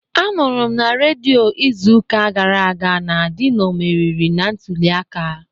Anụrụ m na redio izuụka gara aga na Dino meriri na ntuliaka